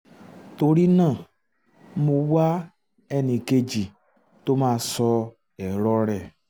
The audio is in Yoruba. torí náà mo wá ẹni kejì tó máa sọ èrò rẹ̀